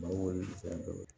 Bawo fɛn dɔ ye